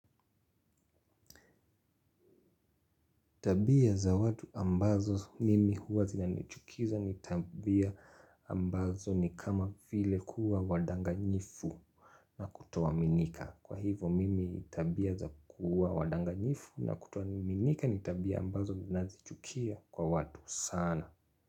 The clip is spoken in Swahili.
Tabia za watu ambazo mimi huwa zinanichukiza ni tabia ambazo ni kama vile kuwa wadanganyifu na kutoaminika. Kwa hivyo mimi tabia za kuwa wadanganyifu na kutoaminika ni tabia ambazo ninazichukia kwa watu sana.